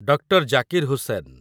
doctor Zakir Hussain